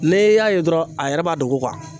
Ne y'a ye dɔrɔn a yɛrɛ b'a dogo kuwa